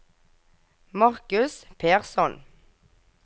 Marcus Persson